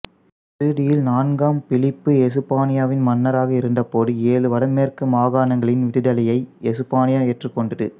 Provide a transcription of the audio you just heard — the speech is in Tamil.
இறுதியில் நான்காம் பிலிப்பு எசுப்பானியாவின் மன்னராக இருந்தபோது ஏழு வடமேற்கு மாகாணங்களின் விடுதலையை எசுப்பானியா ஏற்றுக்கொண்டது